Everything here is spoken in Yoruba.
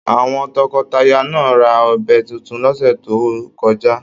Àwọn tọkọtaya náà ra ọbẹ títún l'ọsẹ yo kọjá.